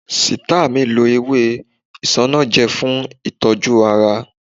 Sita mi lo ewé isanaje fún ìtọ́jú ara